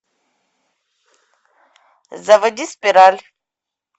заводи спираль